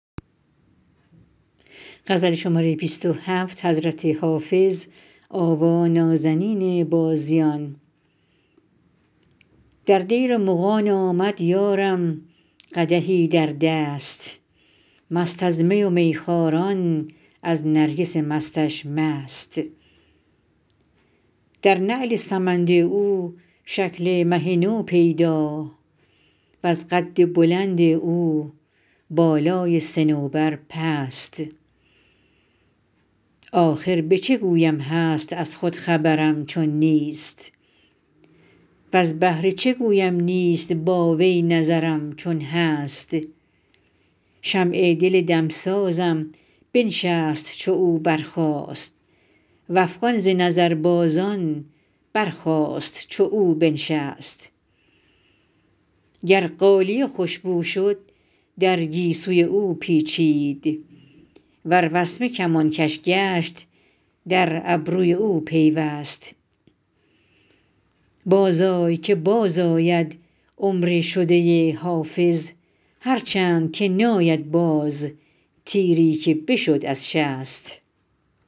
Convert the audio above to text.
در دیر مغان آمد یارم قدحی در دست مست از می و میخواران از نرگس مستش مست در نعل سمند او شکل مه نو پیدا وز قد بلند او بالای صنوبر پست آخر به چه گویم هست از خود خبرم چون نیست وز بهر چه گویم نیست با وی نظرم چون هست شمع دل دمسازم بنشست چو او برخاست و افغان ز نظربازان برخاست چو او بنشست گر غالیه خوش بو شد در گیسوی او پیچید ور وسمه کمانکش گشت در ابروی او پیوست بازآی که بازآید عمر شده حافظ هرچند که ناید باز تیری که بشد از شست